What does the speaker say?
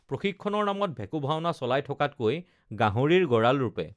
প্ৰশিক্ষণৰ নামত ভেকোঁভাওনা চলাই থকাতকৈ গাহৰিৰ গঁৰাল ৰূপে